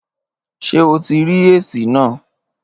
Ṣé o ti rí èsì náà?